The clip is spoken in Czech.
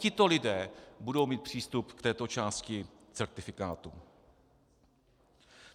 Tito lidé budou mít přístup k této části certifikátu.